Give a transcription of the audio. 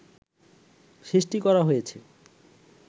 সৃষ্টি করা হয়েছে